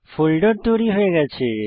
folder তৈরি হয়ে গেছে